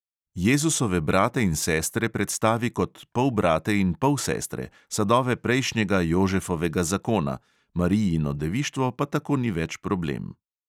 Jezusove brate in sestre predstavi kot polbrate in polsestre, sadove prejšnjega jožefovega zakona, marijino devištvo pa tako ni več problem.